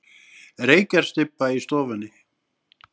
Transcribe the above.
Reykjarstybba í stofunni.